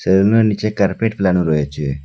সেলুনের নীচে কার্পেট ফেলানো রয়েচে।